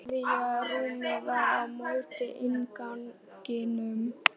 Þriðja rúmið var á móti innganginum.